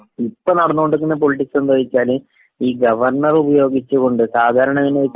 ഇപ്പൊ നടന്നോണ്ടിരിക്കണ പൊളിറ്റിക്സ് എന്താ നു വച്ചാല് ഈ ഗവർണറെ ഉപയോഗിച്ചുകൊണ്ട് സാധാരണ എങ്ങനാ നു വച്ചാല്...